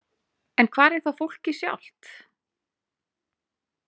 En hvar er þá fólkið sjálft?